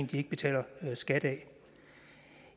de ikke betaler skat af